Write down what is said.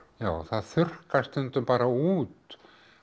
það þurrkast stundum bara út